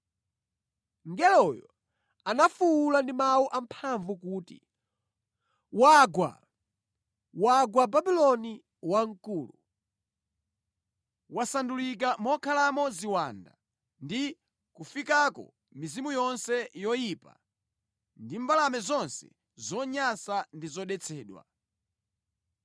Mngeloyo anafuwula ndi mawu amphamvu kuti: “ ‘Wagwa! Wagwa Babuloni Wamkulu!’ Wasandulika mokhalamo ziwanda ndi kofikako mizimu yonse yoyipa ndi mbalame zonse zonyansa ndi zodetsedwa.